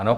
Ano.